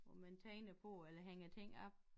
Hvor man tegner på eller hænger ting op